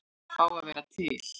Að fá að vera til.